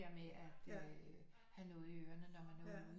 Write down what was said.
At øh have noget i ørene når man er ude